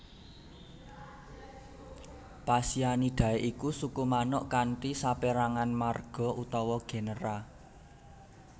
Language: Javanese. Phasianidae iku suku manuk kanthi sapérangan marga utawa genera